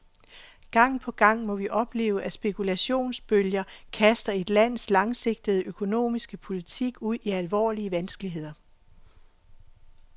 Gang på gang må vi opleve, at spekulationsbølger kaster et lands langsigtede økonomiske politik ud i alvorlige vanskeligheder.